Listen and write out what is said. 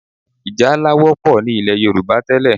Ì̀jálá wọ́pọ̀ ní ilẹ̀ Yorùbá tẹ́lẹ̀